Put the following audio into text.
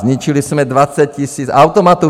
Zničili jsme 20 000 automatů.